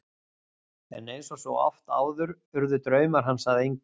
En eins og svo oft áður urðu draumar hans að engu.